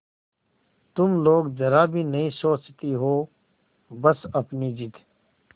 तुम लोग जरा भी नहीं सोचती हो बस अपनी जिद